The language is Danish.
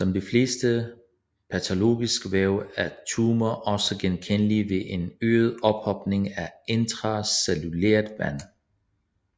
Som de fleste patologiske væv er tumorer også genkendelige ved en øget ophobning af intracellulært vand